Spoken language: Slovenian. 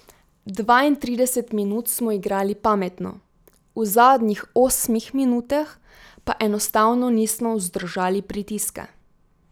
Dvaintrideset minut smo igrali pametno, v zadnjih osmih minutah pa enostavno nismo vzdržali pritiska.